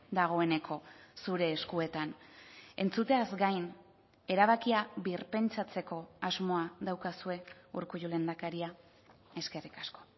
dagoeneko zure eskuetan entzuteaz gain erabakia birpentsatzeko asmoa daukazue urkullu lehendakaria eskerrik asko